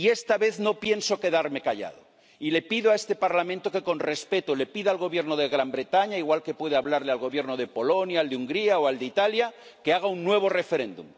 Esta vez no pienso quedarme callado y le pido a este Parlamento que, con respeto, le pida al Gobierno del Reino Unido —igual que puede hablarle al Gobierno de Polonia, al de Hungría o al de Italia— que haga un nuevo referéndum.